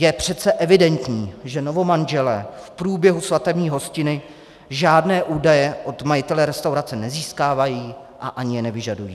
Je přece evidentní, že novomanželé v průběhu svatební hostiny žádné údaje od majitele restaurace nezískávají a ani je nevyžadují.